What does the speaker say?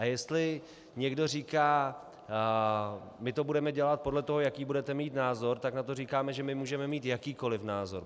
A jestli někdo říká, my to budeme dělat podle toho, jaký budete mít názor, tak na to říkáme, že my můžeme mít jakýkoliv názor.